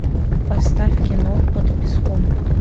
поставь кино под песком